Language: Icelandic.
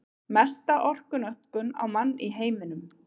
Mesta orkunotkun á mann í heiminum